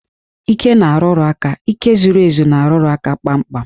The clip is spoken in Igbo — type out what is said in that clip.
Íké na-arụrụ aka, íké zuru ezu na-arụrụ aka kpamkpam